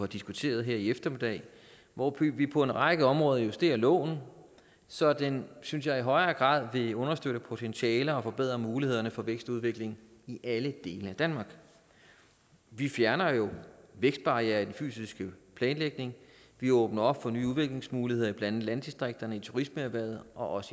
diskuteret her i eftermiddag hvor vi på en række områder justerer loven så den synes jeg i højere grad vil understøtte potentialer og forbedre mulighederne for vækst og udvikling i alle dele af danmark vi fjerner jo vækstbarrierer i den fysiske planlægning og vi åbner op for nye udviklingsmuligheder i blandt andet landdistrikterne i turismeerhvervet og også